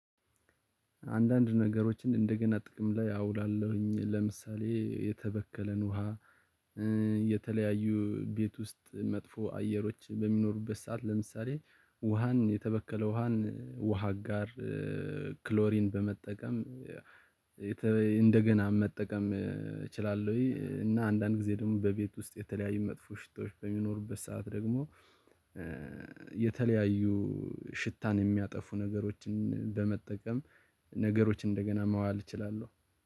አንዳንድ ነገሮችን እንደገና ጥቅም ላይ አውላለሁኝ ለምሳሌ የተበከለን ውሃ የተለያዩ ቤት ውስጥ መጥፎ አየሮች በሚኖሩበት ሰዓት ለምሳሌ ውሃን የተበከለ ውሃን ውሃ አጋር ክሎሪን በመጠቀም እንደገና መጠቀም እችላለሁኝ። እና አንዳንድ ጊዜ ደግሞ በቤት ውስጥ የተለያዩ መጥፎ ሽታዎች በሚኖሩበት ሰዓት ደግሞ የተለያዩ ሽታን የሚያጠፉ ነገሮችን በመጠቀም ነገሮች እንደገና ማዋል እችላለሁ